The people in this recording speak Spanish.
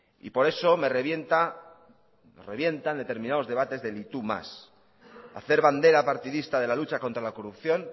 y por eso me revienta me revientan determinados debates del y tú más hacer bandera partidista de la lucha contra la corrupción